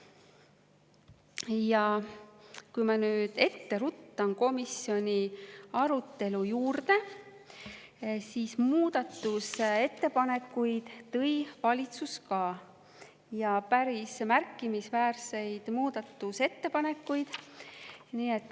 Ma ruttan nüüd ette komisjoni arutelu juurde muudatusettepanekuid tõi ka valitsus, ja päris märkimisväärseid muudatusettepanekuid.